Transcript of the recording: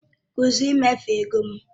Kwụsị ịmefu ego m!